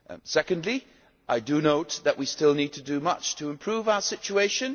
Secondly, I note that we still need to do much to improve our situation.